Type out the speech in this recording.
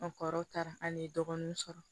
An kɔrɔ taara an ye dɔgɔnun sɔrɔ